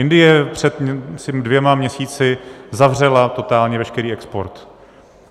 Indie před dvěma měsíci zavřela totálně veškerý export.